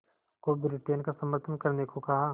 को ब्रिटेन का समर्थन करने को कहा